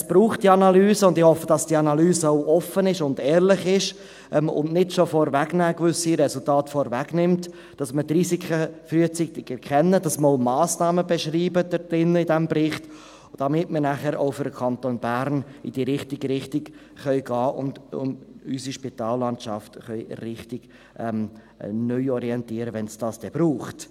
Es braucht diese Analyse, und ich hoffe, dass diese Analyse auch offen und ehrlich ist und nicht schon gewisse Resultate vorwegnimmt, dass wir die Risiken frühzeitig erkennen, dass wir in diesem Bericht auch Massnahmen beschreiben, damit wir nachher auch für den Kanton Bern in die richtige Richtung gehen können und unsere Spitallandschaft richtig neuorientieren können, falls es dies dann braucht.